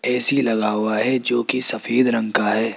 AC लगा हुआ है जो कि सफेद रंग का है।